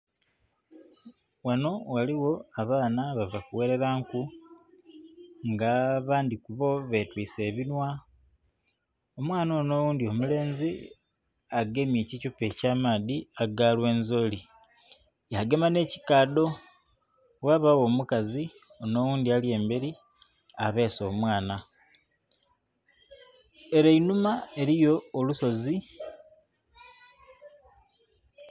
Ghanho ghaligho abaana bava ku gherela nku nga abandhi kubo be twise ebinhwa, omwaana onho oghundhi omulenzi agemye ekithupa kya maadhi aga lwenzili ya gema nhe kikadho ghabagho omukazi onho ali emberi abese omwaana. Ere einhuma eriyo olusozi.